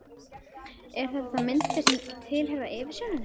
Eru þetta þá myndir sem tilheyra yfirsjóninni?